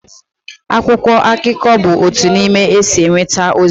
akwụkwọ akụkọ bụ otu n'ime ụzọ e si enweta ozi